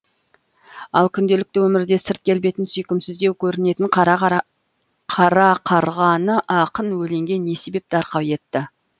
ал күнделікті өмірде сырт келбеті сүйкімсіздеу көрінетін қара қарғаны ақын өлеңге не себепті арқау етті